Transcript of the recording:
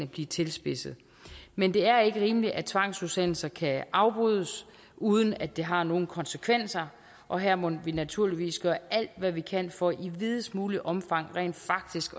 blive tilspidset men det er ikke rimeligt at tvangsudsendelser kan afbrydes uden at det har nogen konsekvenser og her må vi naturligvis gøre alt hvad vi kan for i videst muligt omfang rent faktisk